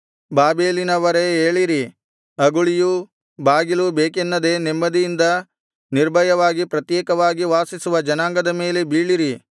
ಬಾಬೆಲಿನವರೇ ಏಳಿರಿ ಅಗುಳಿಯೂ ಬಾಗಿಲೂ ಬೇಕೆನ್ನದೆ ನೆಮ್ಮದಿಯಿಂದ ನಿರ್ಭಯವಾಗಿ ಪ್ರತ್ಯೇಕವಾಗಿ ವಾಸಿಸುವ ಜನಾಂಗದ ಮೇಲೆ ಬೀಳಿರಿ